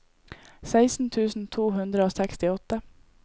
seksten tusen to hundre og sekstiåtte